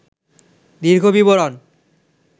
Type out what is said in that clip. র্দীঘ বিবরণ